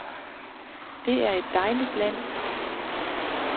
Det er et dejligt land.